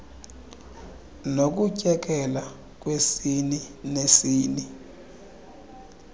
nokutyekela kwesini nesini